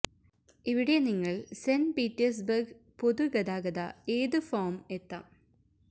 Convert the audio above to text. ഇവിടെ നിങ്ങൾ Saint Petersburg പൊതു ഗതാഗത ഏത് ഫോം എത്താം